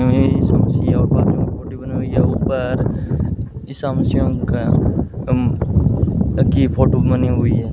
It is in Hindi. हमें ईसा मसीह और पादरियों का फोटो बनी हुई है ऊपर ईसा मसीहों का की फोटो बनी हुई है।